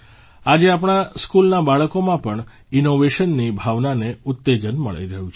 આજે આપણા સ્કૂલના બાળકોમાં પણ ઇન્નોવેશનની ભાવનાને ઉત્તેજન મળી રહ્યું છે